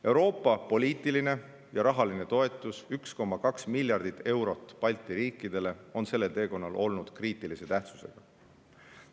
Euroopa poliitiline ja rahaline toetus – 1,2 miljardit eurot Balti riikidele – on sellel teekonnal olnud kriitilise tähtsusega.